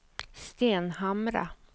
Stenhamra